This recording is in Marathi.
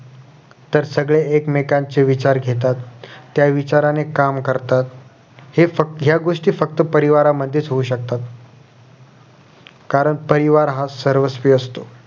तर सगळे एकमेकांचे विचार घेतात त्या विचाराने काम करतात हे फक्त ह्या गोष्टी फक्त परिवारामध्येच होऊ शकतात कारण परिवार हा सर्वस्वी असतो